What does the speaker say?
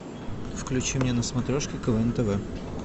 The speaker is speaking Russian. включи мне на смотрешке квн тв